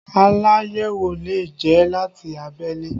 Aláyẹ̀wò lè jẹ́ láti abẹ́lé